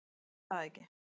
Ætli það ekki.